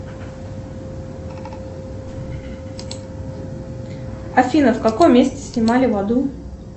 афина в каком месте снимали в аду